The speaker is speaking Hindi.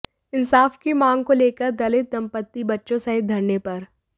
इंसाफ की मांग को लेकर दलित दम्पति बच्चों सहित धरने पर